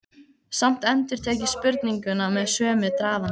Samt endurtek ég spurninguna með sömu drafandi.